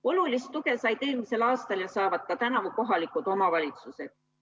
Olulist tuge said eelmisel aastal ja saavad ka tänavu kohalikud omavalitsused.